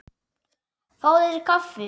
Fáðu þér kaffi.